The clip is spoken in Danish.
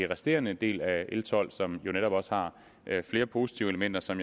resterende del af l tolv som jo netop har flere positive elementer som